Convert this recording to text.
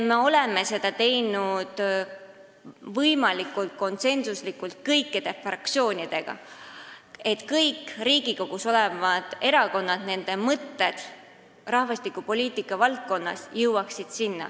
Me oleme seda teinud võimalikult konsensuslikult kõikide fraktsioonidega, et sinna jõuaksid kõikide Riigikogus olevate erakondade mõtted rahvastikupoliitika valdkonna kohta.